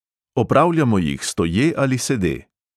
Opravljamo jih stoje ali sede.